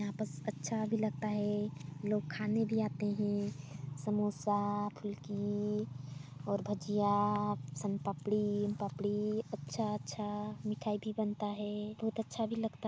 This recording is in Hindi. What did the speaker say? यहाँ पस अच्छा भी लगता हैं लोग खाने भी आते हैं समोसा फुल्की और भाजिया सोनपापड़ी उनपापड़ी अच्छा अच्छा मिठाई भी बनता हैं बहुत अच्छा भी लगता--